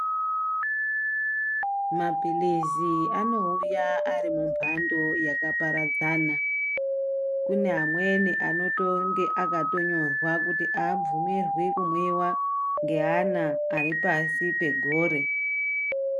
Maphirizi anouya ari mumhando yakaparadzana . Kune amweni anotonge akatonyorwa kuti aabvumirwi kumwiwa ngeana ari pasi pegore.